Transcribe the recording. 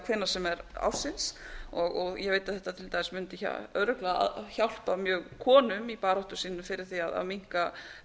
hvenær sem er ársins ég veit að þetta mundi til dæmis örugglega hjálpa mjög konum í baráttu sinni fyrir því að minnka